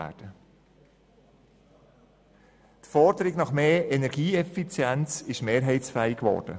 Die Forderung nach mehr Energieeffizienz ist somit mehrheitsfähig geworden.